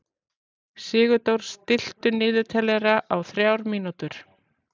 Sigurdór, stilltu niðurteljara á þrjár mínútur.